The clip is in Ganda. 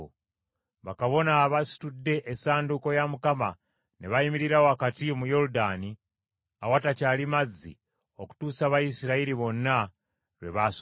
Bakabona abasitudde Essanduuko ya Mukama ne bayimirira wakati mu Yoludaani awatakyali mazzi okutuusa Abayisirayiri bonna lwe baasomoka.